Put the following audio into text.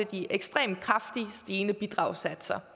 de ekstremt kraftigt stigende bidragssatser